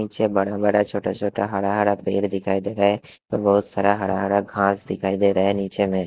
पीछे बड़ा बड़ा छोटा छोटा हरा हरा पेड़ दिखाई दे रहा है और बहुत सारा हरा हरा घास दिखाई दे रहा है नीचे में।